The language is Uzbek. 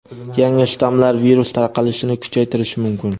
yangi shtammlar virus tarqalishini kuchaytirishi mumkin.